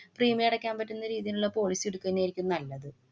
premium അടയ്ക്കാന്‍ പറ്റുന്ന രീതീലുള്ള policy ഇടുക്ക ന്നെയായിരിക്കും നല്ലത്.